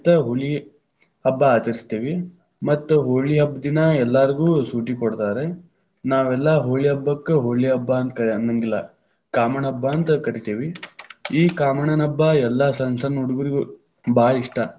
ಹೋಳಿ ಹಬ್ಬ ಆಚರಿಸತೇವಿ, ಮತ್ತ ಹೋಳಿ ಹಬ್ಬದ ದಿನಾ ಎಲ್ಲಾರಗು೯ ಶುಟಿ ಕೊಡ್ತಾರ್ರಿ. ನಾವೆಲ್ಲಾ ಹೋಳಿ ಹಬ್ಬಕ್ಕ ಹೋಳಿ ಹಬ್ಬ ಅಂತ ಕರ ಅನ್ನೆಂಗಿಲ್ಲಾ, ಕಾಮಣ್ಣ ಹಬ್ಬ ಅಂತ ಕರಿತೀವಿ, ಈ ಕಾಮಣ್ಣನ ಹಬ್ಬಾ ಎಲ್ಲಾ ಸಣ್ಣ ಸಣ್ಣ ಹುಡುಗುರಿಗೂ ಭಾಳ ಇಷ್ಟ.